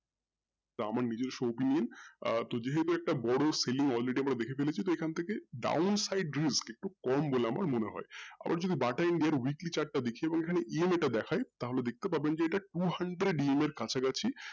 তো আমার নিজিস্ব opinion আহ তো যেহুতু এটা বড়ো film আমরা দেখে ফেলেছে তো এখন থেকে দারুন side views একটু কম বলে আমার মনে হয় আবার যদি BATA India weekly chart দেখি ওই খানে আবার EM আমরা দেখায় তাহলে দেখতে পাবেন two hundred EMI এর কাছাকাছি